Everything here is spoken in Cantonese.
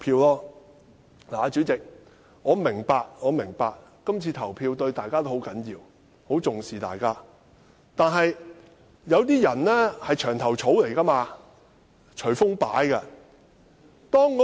代理主席，我明白今次的投票對大家都十分重要，大家都十分重視，但有些人是"牆頭草"，隨風擺。